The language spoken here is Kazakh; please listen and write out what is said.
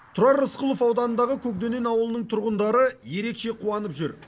тұрар рысқұлов ауданындағы көкдөнен ауылының тұрғындары ерекше қуанып жүр